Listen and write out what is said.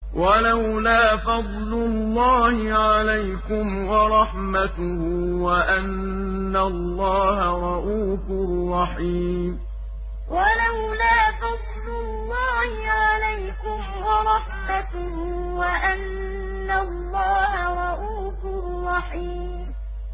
وَلَوْلَا فَضْلُ اللَّهِ عَلَيْكُمْ وَرَحْمَتُهُ وَأَنَّ اللَّهَ رَءُوفٌ رَّحِيمٌ وَلَوْلَا فَضْلُ اللَّهِ عَلَيْكُمْ وَرَحْمَتُهُ وَأَنَّ اللَّهَ رَءُوفٌ رَّحِيمٌ